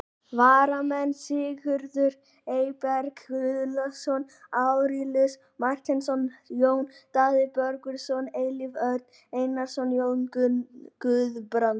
Varamenn: Sigurður Eyberg Guðlaugsson, Arilíus Marteinsson, Jón Daði Böðvarsson, Elías Örn Einarsson, Jón Guðbrandsson.